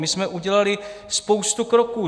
My jsme udělali spoustu kroků.